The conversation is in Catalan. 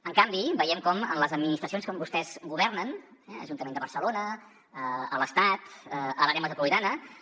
en canvi veiem com en les administracions on vostès governen eh a l’ajuntament de barcelona a l’estat a l’àrea metropolitana